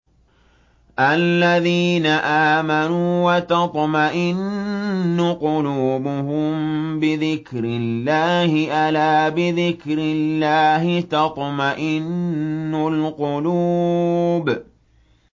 الَّذِينَ آمَنُوا وَتَطْمَئِنُّ قُلُوبُهُم بِذِكْرِ اللَّهِ ۗ أَلَا بِذِكْرِ اللَّهِ تَطْمَئِنُّ الْقُلُوبُ